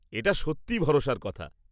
এটা সত্যিই ভরসার কথা।